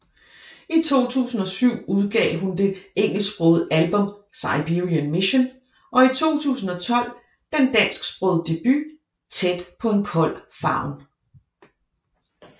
I 2007 udgav hun det engelsksprogede album Siberian Mission og i 2012 den dansksprogede debut Tæt På En Kold Favn